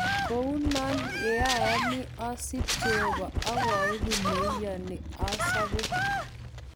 Kounon yeoyoni osib jeobo okoibu neyoni asobe.